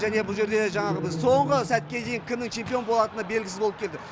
және бұл жерде жаңағы біз соңғы сәтке дейін кімнің чемпион болатыны белгісіз болып келді